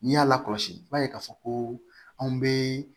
N'i y'a kɔlɔsi i b'a ye k'a fɔ ko anw bɛ